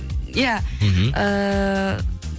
иә мхм ыыы